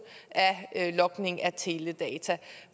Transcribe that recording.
af logning af teledata